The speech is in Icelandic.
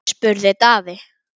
spurði Daði.